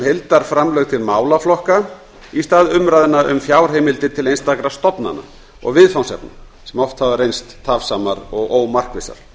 heildarframlög til málaflokka í stað umræðna um fjárheimildir til einstakra stofnana og viðfangsefna sem oft hafa reynst tafsamar og ómarkvissar